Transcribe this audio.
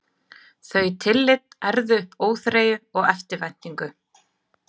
Þau tillit ærðu upp óþreyju og eftirvæntingu.